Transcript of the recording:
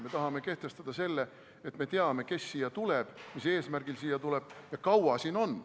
Me tahame kehtestada selle, et me teame, kes siia tuleb, mis eesmärgil siia tuleb ja kui kaua siin on.